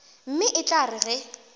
mme e tla re ge